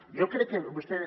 jo crec que vostè